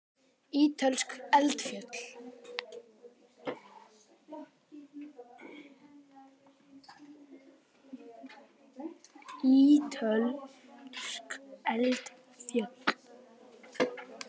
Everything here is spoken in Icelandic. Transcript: Ítölsk eldfjöll.